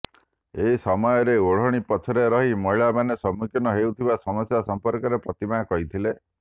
ଏହି ସମୟରେ ଓଢ଼ଣୀ ପଛରେ ରହି ମହିଳାମାନେ ସମ୍ମୁଖୀନ ହେଉଥିବା ସମସ୍ୟା ସମ୍ପର୍କରେ ପ୍ରତିମା କହିଥିଲେ